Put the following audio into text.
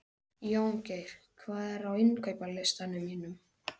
Jóngeir, hvað er á innkaupalistanum mínum?